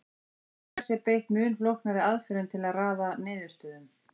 nú til dags er beitt mun flóknari aðferðum til að raða niðurstöðum